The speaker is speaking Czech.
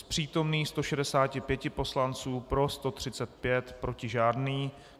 Z přítomných 165 poslanců pro 135, proti žádný.